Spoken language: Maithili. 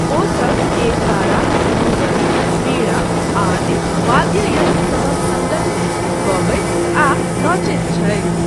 ओसब एकतारा, दूबरी, वीणा आदि वाद्ययन्त्रसभक सङ्गतमे गबैत आ नचैत छथि।